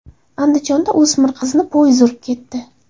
Andijonda o‘smir qizni poyezd urib ketdi.